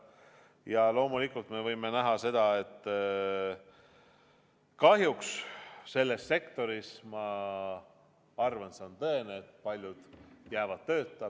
Ja loomulikult me võime näha, et kahjuks selles sektoris – ma arvan, et see on tõene – paljud jäävad tööta.